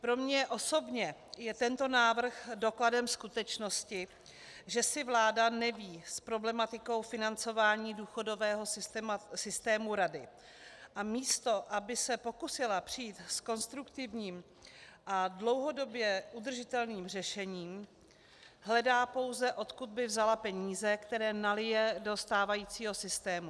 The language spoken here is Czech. Pro mě osobně je tento návrh dokladem skutečnosti, že si vláda neví s problematikou financování důchodového systému rady, a místo aby se pokusila přijít s konstruktivním a dlouhodobě udržitelným řešením, hledá pouze, odkud by vzala peníze, které nalije do stávajícího systému.